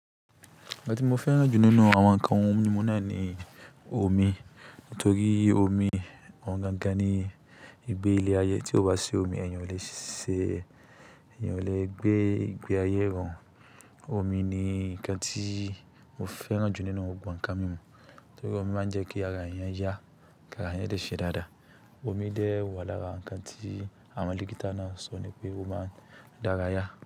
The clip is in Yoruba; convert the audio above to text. Nkan ti mo fẹ́ràn jù nínú àwọn ǹkan ohun mímu náà ni omi, nítorí omi òún gangan ni ìgbé ilé ayé. Tí o bá si omi, èèyàn yin ò lè se, èèyàn yin ò lè gbé ìgbé ayé irọ̀run. Omi ni ǹkan tí mo fẹ́ràn jù nínú gbogbo ǹkan mímu, nítorí omi máa ń jẹ́ kí ara èèyàn yá, kí ara èèyàn dẹ ṣe dáadáa. Omi dẹ̀ wà lára ǹkan tí àwọn digital nurse sọ ni pé ó máa ń dá ara yá.